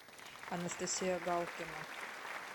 анастасия галкина